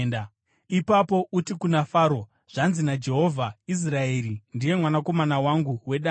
Ipapo uti kuna Faro, ‘Zvanzi naJehovha: Israeri ndiye mwanakomana wangu wedangwe,